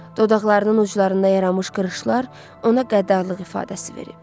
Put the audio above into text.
Dodaqlarının uclarında yaranmış qırışlar ona qəddarlıq ifadəsi verib.